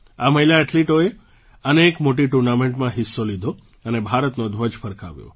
આ મહિલા એથ્લીટોએ અનેક મોટી ટુર્નામેન્ટમાં હિસ્સો લીધો અને ભારતનો ધ્વજ ફરકાવ્યો